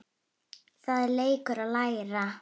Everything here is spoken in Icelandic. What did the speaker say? Það er leikur að læra